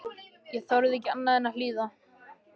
Ég þorði ekki annað en að hlýða.